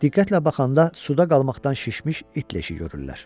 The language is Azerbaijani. Diqqətlə baxanda suda qalmaqdan şişmiş it leşi görürlər.